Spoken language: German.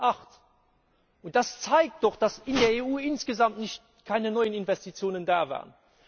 2008. Und das zeigt doch, dass in der EU insgesamt keine neuen Investitionen da waren.